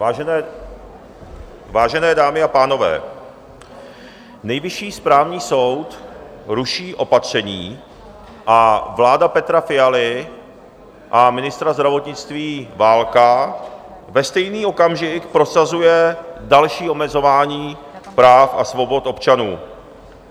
Vážené dámy a pánové, Nejvyšší správní soud ruší opatření a vláda Petra Fialy a ministra zdravotnictví Válka ve stejný okamžik prosazuje další omezování práv a svobod občanů.